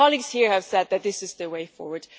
Colleagues here have said that this is the way forward.